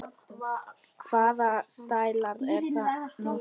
Hvaða stælar eru nú þetta?